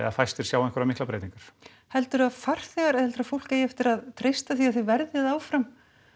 fæstir sjá einhverjar miklar breytingar heldurðu að farþegar eða heldurðu að fólk eigi eftir að treysta því að þið verðið áfram